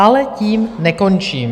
Ale tím nekončím.